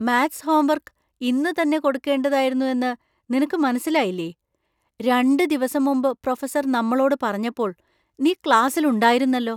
Maths homework ഇന്ന് തന്നെ കൊടുക്കുകേണ്ടതായിരുന്നു എന്ന് നിനക്ക് മനസ്സിലായില്ലേ? രണ്ട് ദിവസം മുമ്പ് പ്രൊഫസർ നമ്മളോട് പറഞ്ഞപ്പോൾ നീ ക്ലാസ്സിൽ ഉണ്ടായിരുന്നല്ലോ.